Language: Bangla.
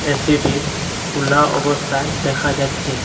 এসিটি খুলা অবস্থায় দেখা যাচ্ছে।